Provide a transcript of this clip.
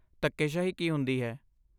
ਧੱਕੇਸ਼ਾਹੀ ਕੀ ਹੁੰਦੀ ਹੈ?